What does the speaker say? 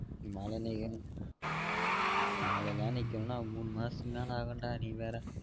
மழ நிக்கணும் மழலாம் நிக்கணும் னா மூணு மாசத்துக்கு மேல ஆகும் டா நீ வேற